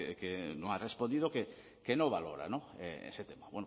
que no ha respondido que no valora ese tema